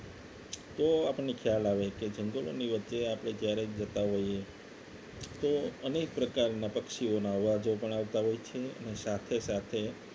તો આપણને ખ્યાલ આવે કે જંગલોની વચ્ચે આપણે જ્યારે જતા હોઈએ તો અનેક પ્રકારના પક્ષીઓના અવાજો પણ આવતા હોય છે અને સાથે સાથે